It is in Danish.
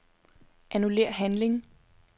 Annullér handling.